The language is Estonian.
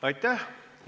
Aitäh!